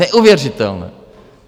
Neuvěřitelné!